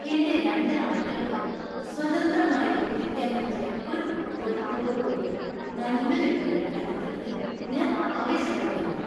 എന്‍റെ രണ്ട് നായ്ക്കൾക്ക് സ്വതന്ത്രമായി വിഹരിക്കാൻ പറ്റിയ ഒരു പൂന്തോട്ടത്തോടുകൂടിയ നല്ലൊരു വീട് കണ്ടെത്തുന്നതിൽ ഞാൻ ആവേശഭരിതനാണ്.